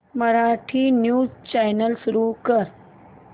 Marathi news channel सुरू कर